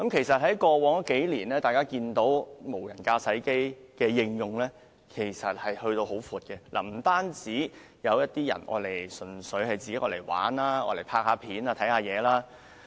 在過去數年，大家看到無人駕駛飛機已被廣泛應用，有人純粹用作玩樂、拍攝影片或觀看景物。